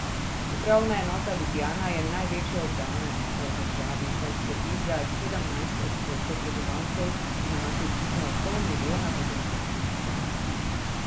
Upravna enota Ljubljana je največja upravna enota v državi, saj skrbi za sedemnajst odstotkov prebivalcev in ima približno pol milijona potencialnih strank.